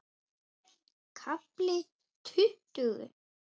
KAFLI TUTTUGU